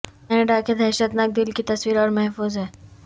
Canada کے دھشتناک دل کی تصویر اور محفوظ ہے